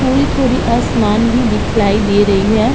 थोड़ी-थोड़ी आसमान भी दिखलाइ दे रही है।